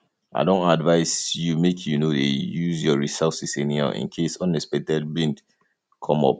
i don advice you make you no dey use your resources anyhow in case unexpected bill come up